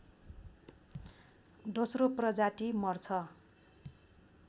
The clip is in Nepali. दोश्रो प्रजाति मर्छ